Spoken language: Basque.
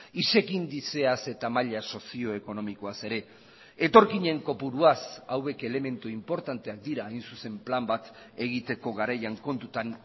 isec indizeaz eta maila sozio ekonomikoaz ere etorkinen kopuruaz hauek elementu inportanteak dira hain zuzen plan bat egiteko garaian kontutan